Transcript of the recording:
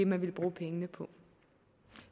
man ville bruge pengene på